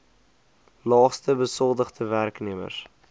laagste besoldigde werknemers